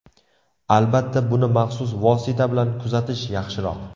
Albatta, buni maxsus vosita bilan kuzatish yaxshiroq.